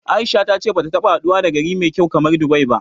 A'isha ta ce bata taɓa haduwa da gari mai kyau kamar Dubai ba.